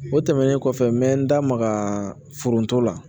O tɛmɛnen kɔfɛ n bɛ n da maga foronto la